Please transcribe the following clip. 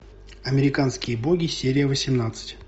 американские боги серия восемнадцать